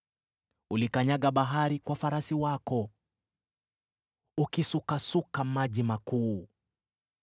Ulikanyaga bahari kwa farasi wako, ukisukasuka maji makuu.